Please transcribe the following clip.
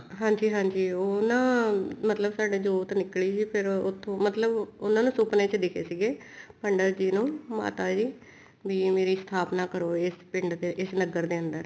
ਹਾਂਜੀ ਹਾਂਜੀ ਉਹ ਨਾ ਮਤਲਬ ਸਾਡੇ ਜੋਤ ਨਿੱਕਲੀ ਸੀ ਫ਼ੇਰ ਉੱਥੋਂ ਮਤਲਬ ਉਹਨਾ ਨੂੰ ਸੁਪਨੇ ਚ ਦਿਖੇ ਸੀਗੇ ਪੰਡਿਤ ਜੀ ਨੂੰ ਮਾਤਾ ਜੀ ਵੀ ਮੇਰੀ ਸਥਾਪਨਾ ਕਰੋ ਈ ਪਿੰਡ ਦੇ ਇਸ ਨਗਰ ਦੇ ਅੰਦਰ